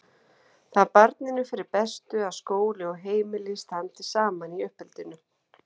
Það er barninu fyrir bestu að skóli og heimili standi saman í uppeldinu.